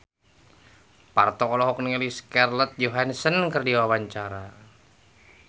Parto olohok ningali Scarlett Johansson keur diwawancara